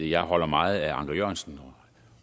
jeg holder meget af anker jørgensen